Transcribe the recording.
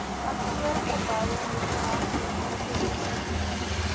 kantoorgeboue restaurante inkopiesentrums